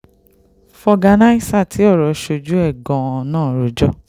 fọ̀gànàìsà tí ọ̀rọ̀ sójú ẹ̀ gan-an náà rojọ́